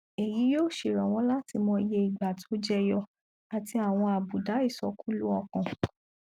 èyí yóò ṣèrànwọ láti mọ iye ìgbà tó jẹyọ àti àwọn àbùdá ìsọkúlú ọkàn